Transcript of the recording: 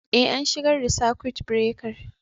Eh, an shigar da sakut birekar.